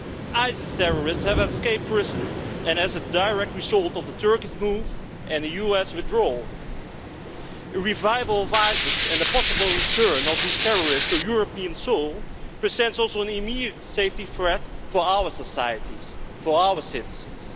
ISIS terrorists have escaped prison and as a direct result of the Turkish move and the US withdrawal, revival of ISIS and the possible return of these terrorists to European soil presents also an immediate safety threat to our societies, for our citizens.